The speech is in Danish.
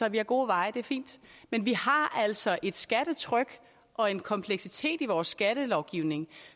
at vi har gode veje og det er fint men vi har altså et skattetryk og en kompleksitet i vores skattelovgivning